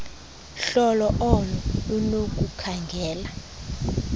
hlolo olo lunokukhangela